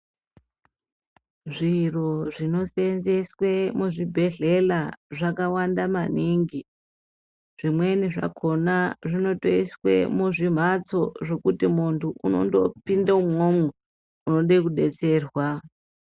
Zviro zvinoseenzeswe muzvibhedhlela zvakawanda maningi. Zvimweni zvakhona zvinotoiswe muzvimhatso ,zvokuti muntu unondopinde umwomwo ,unode kudetserwa.